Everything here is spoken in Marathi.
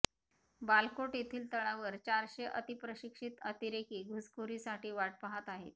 बालाकोट येथील तळावर चारशे अतिप्रशिक्षित अतिरेकी घुसकोरीसाठी वाट पाहत आहेत